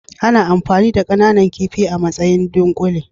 Ana amfani da kananan kifi a matsayin ɗunkule.